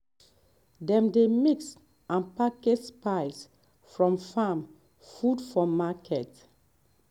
dem dey mix and package spice from farm um food for market.